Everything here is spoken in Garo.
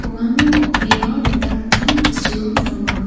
uano bang·bea dingtang dingtang bosturang donga.